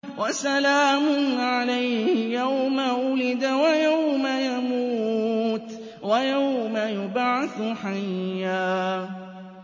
وَسَلَامٌ عَلَيْهِ يَوْمَ وُلِدَ وَيَوْمَ يَمُوتُ وَيَوْمَ يُبْعَثُ حَيًّا